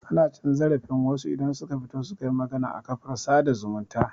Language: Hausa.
Ana cin zarafin wasu idan suka fito suka yi magana a kafar sada zumunta